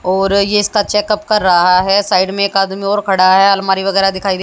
और ये इसका चेकअप कर रहा है साइड में एक आदमी और खड़ा है अलमारी वगैरा दिखाइ दे--